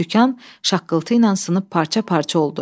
Sükan şaqqıltı ilə sınıb parça-parça oldu.